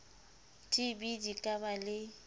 tb di ka ba le